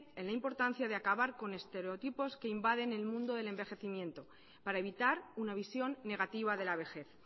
en la importancia de acabar con estereotipos que invaden el mundo del envejecimiento para evitar una visión negativa de la vejez